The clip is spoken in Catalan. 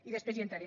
i després hi entraré